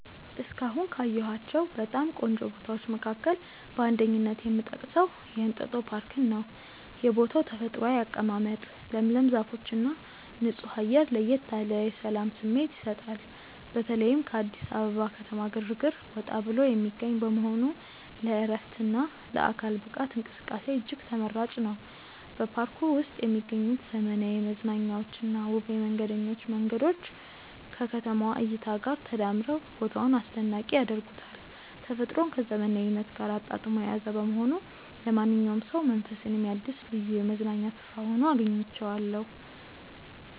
እስካሁን ካየኋቸው በጣም ቆንጆ ቦታዎች መካከል በአንደኝነት የምጠቀሰው የእንጦጦ ፓርክን ነው። የቦታው ተፈጥሯዊ አቀማመጥ፣ ለምለም ዛፎችና ንጹህ አየር ለየት ያለ የሰላም ስሜት ይሰጣል። በተለይም ከአዲስ አበባ ከተማ ግርግር ወጣ ብሎ የሚገኝ በመሆኑ ለዕረፍትና ለአካል ብቃት እንቅስቃሴ እጅግ ተመራጭ ነው። በፓርኩ ውስጥ የሚገኙት ዘመናዊ መዝናኛዎችና ውብ የመንገደኞች መንገዶች ከከተማዋ እይታ ጋር ተዳምረው ቦታውን አስደናቂ ያደርጉታል። ተፈጥሮን ከዘመናዊነት ጋር አጣጥሞ የያዘ በመሆኑ ለማንኛውም ሰው መንፈስን የሚያድስ ልዩ የመዝናኛ ስፍራ ሆኖ አግኝቼዋለሁ።